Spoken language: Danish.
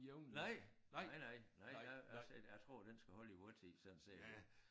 Nej nej nej nej jeg altså jeg tror den skal holde i måj tid sådan set